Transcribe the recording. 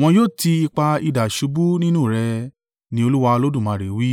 wọn yóò ti ipa idà ṣubú nínú rẹ; ní Olúwa Olódùmarè wí.